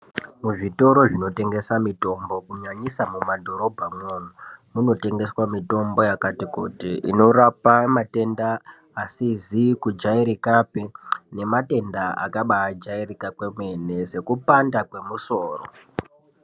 Muzvitoro zvinotengeswa mitombo kunyanyisa mumadhorobha umwomwo munotengeswa mitombo yakati kuti inorapa matenda asizi kujairikapi nematenda akabajairika kwemene sekupanda kwemusoro.